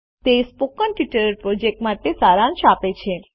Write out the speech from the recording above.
તે spoken tutorial project માટે સારાંશ આપે છે